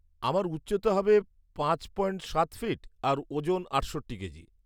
আমার উচ্চতা হবে পাঁচ পয়েন্ট সাত ফিট আর ওজন আটষট্টি কেজি।